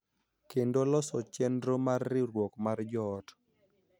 Kendo loso chenro mar riwruok mar joot.